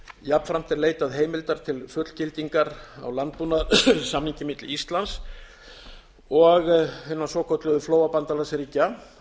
jafnframt er leitað heimildar til fullgildingar á landbúnaðarsamningi milli íslands og hinna svokölluðu flóabandalagsríkja